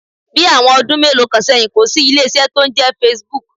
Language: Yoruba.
Bí àwọn ọdún mélòó kan sẹ́yìn, kò sí ilé iṣẹ́ tó ń jẹ́ Facebook.